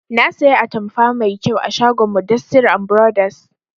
Na saya atamfa mai kyau a shagon mudassir and brothers